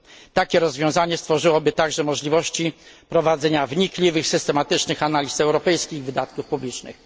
Takie rozwiązanie stworzyłoby także możliwości prowadzenia wnikliwych i systematycznych analiz europejskich wydatków publicznych.